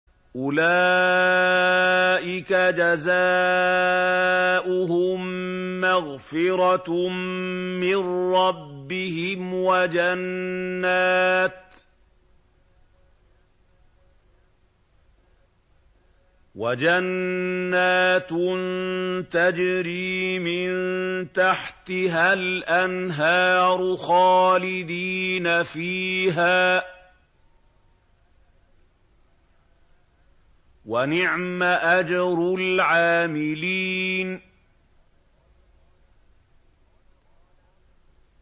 أُولَٰئِكَ جَزَاؤُهُم مَّغْفِرَةٌ مِّن رَّبِّهِمْ وَجَنَّاتٌ تَجْرِي مِن تَحْتِهَا الْأَنْهَارُ خَالِدِينَ فِيهَا ۚ وَنِعْمَ أَجْرُ الْعَامِلِينَ